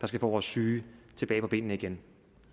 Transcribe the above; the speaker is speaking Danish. skal få vores syge tilbage på benene igen